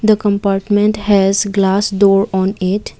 the compartment has glass door on it.